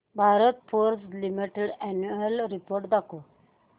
Bharat forge limited annual report दाखव